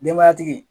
Denbayatigi